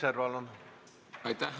Aitäh!